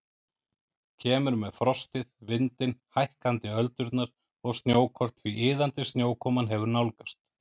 Kemur með frostið, vindinn, hækkandi öldurnar og snjókorn því iðandi snjókoman hefur nálgast.